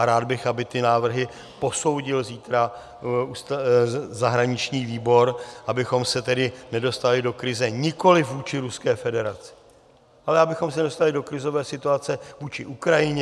A rád bych, aby ty návrhy posoudil zítra zahraniční výbor, abych se tedy nedostali do krize nikoli vůči Ruské federaci, ale abychom se nedostali do krizové situace vůči Ukrajině.